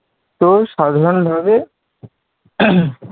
তো সাধারণভাবে